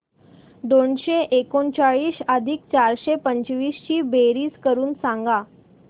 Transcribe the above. दोनशे एकोणचाळीस अधिक चारशे पंचवीस ची बेरीज करून सांगा